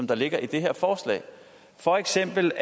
der ligger i det her forslag for eksempel